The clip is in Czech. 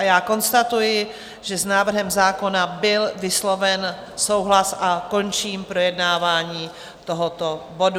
A já konstatuji, že s návrhem zákona byl vysloven souhlas, a končím projednávání tohoto bodu.